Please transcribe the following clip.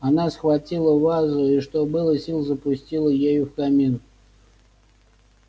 она схватила вазу и что было сил запустила ею в камин